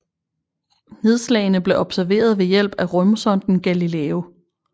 Nedslagene blev observeret ved hjælp af rumsonden Galileo